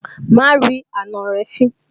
Má rí àna rẹ̀ fín!